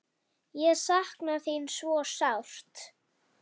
Ég sakna þín svo sárt.